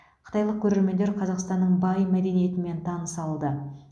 қытайлық көрермендер қазақстанның бай мәдениетімен таныса алды